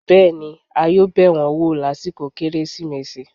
bẹẹni, a yoo bẹ wọn wọ lasikọ keresimesi